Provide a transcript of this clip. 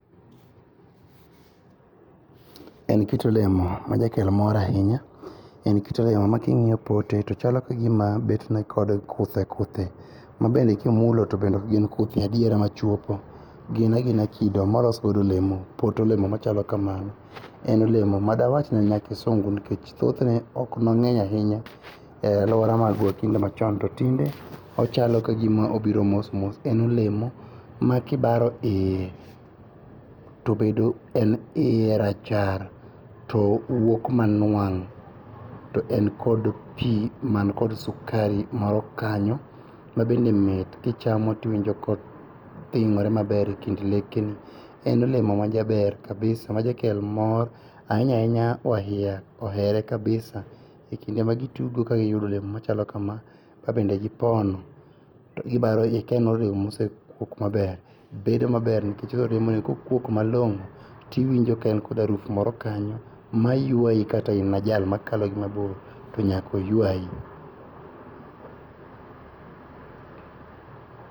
En kit olemo majakelo mor ainya. En kit olemo making'io pote tochalo kagima betne kod kuthe kuthe ma bende kimulo to bende okgin kuthni adiera machuopo. Ginagina kido molosgodo olemo. Pot olemo machalo kamano en olemo madawachni nyakisungu nikech thotne oknong'eny ainya e aluora magwa kinde machon to tinde ochalo ka gima obiro mos mos. En olemo makibaro iye tobedo, en iye to rachar to wuok manuang' to en kod pii man kod sukari moro kanyo ma bende mit kichamo tiwinjo kothinyore maber e kind lekeni. En olemo majaber kabisa majakel mor. Ainya ainya waiya ohere kabisa e kinde magitugo kagiyudo olemo machalo kama kabende gipono to gibarogi ka en olemo mosekuok maber, bedo maber nikech okuok malong'o tiwinjo ka en kod haruf moro kanyo mayuayi ma kata in jal makalo gi mabor to nyakoyuayi.